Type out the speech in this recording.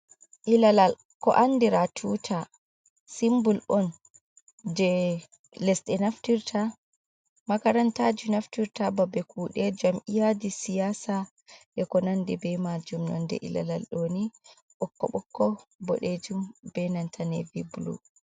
Ilalal ko andira tuta, simbul on je lesde naftirta, makarantaji naftirta, babe kuɗe, jam'iyaji siyasa e ko nande be majum, nonde ilalal ɗoni, ɓokkoɓokko, boɗejum, be nanta navy blu.